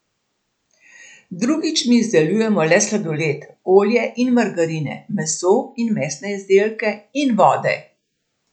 Drugič, mi izdelujemo le sladoled, olje in margarine, meso in mesne izdelke in vode.